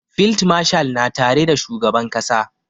Field marshal na tare da shugaban ƙasa